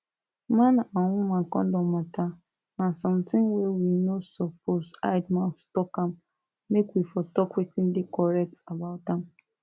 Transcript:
man and woman condom matter na something wey we no suppose hide mouth talk am make we for talk wetin dey correct about am